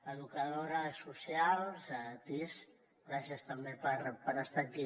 educadores socials tis gràcies també per estar aquí